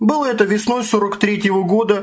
было это весной сорок третьего года